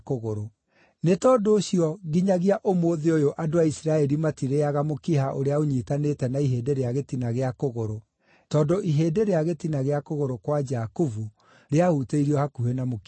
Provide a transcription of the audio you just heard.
Nĩ tondũ ũcio, nginyagia ũmũthĩ ũyũ andũ a Isiraeli matirĩĩaga mũkiha ũrĩa ũnyiitanĩte na ihĩndĩ rĩa gĩtina gĩa kũgũrũ, tondũ ihĩndĩ rĩa gĩtina gĩa kũgũrũ kwa Jakubu rĩahutĩirio hakuhĩ na mũkiha ũcio.